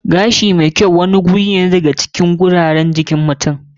Gashi wani guri wanda ya ke cikin gurare mai kyau a jikin mutum.